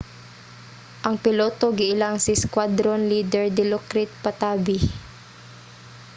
ang piloto giilang si squadron leader dilokrit pattavee